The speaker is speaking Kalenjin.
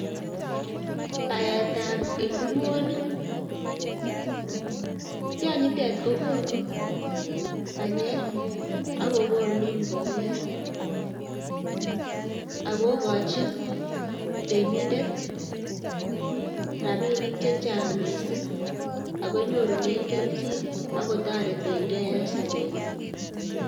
Baetab inguruonik, tionyitet kokonuu banyek akokonu mbolea, akoiikonchin temindet rabinik chechang missing ak konyorunen kelchin ak kotoreten gee en sobenyiin